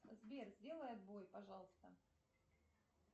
сбер сделай отбой пожалуйста